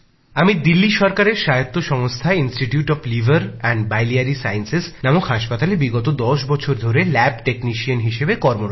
আমি দিল্লি সরকারের স্বায়ত্বশাসিত সংস্থা institute of liver and biliary sciences নামে হাসপাতালে বিগত দশ বছর ধরে ল্যাব টেকনিশিয়ান হিসেবে কর্মরত